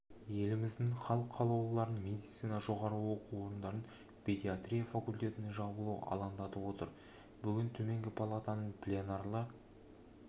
еліміздің халық қалаулыларын медицина жоғары оқу орындарында педиатрия факультетінің жабылуы алаңдатып отыр бүгін төменгі палатаның пленарлы